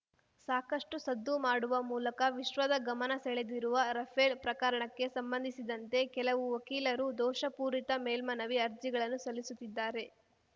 ಸಾಕಷ್ಟುಸದ್ದು ಮಾಡುವ ಮೂಲಕ ವಿಶ್ವದ ಗಮನ ಸೆಳೆದಿರುವ ರಫೇಲ್‌ ಪ್ರಕರಣಕ್ಕೆ ಸಂಬಂಧಿಸಿದಂತೆ ಕೆಲವು ವಕೀಲರು ದೋಷಪೂರಿತ ಮೇಲ್ಮನವಿ ಅರ್ಜಿಗಳನ್ನು ಸಲ್ಲಿಸುತ್ತಿದ್ದಾರೆ